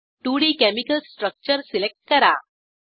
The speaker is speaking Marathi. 2डी केमिकल स्ट्रक्चर सिलेक्ट करा